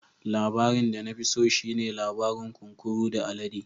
Labarin da na fi so shi ne labarin kunkuru da alade.